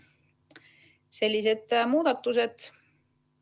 Sellised muudatused.